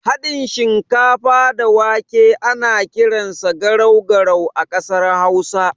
Haɗin shinkafa da wake ana kiransa garau garau a ƙasar hausa.